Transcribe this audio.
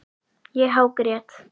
Ég hágrét.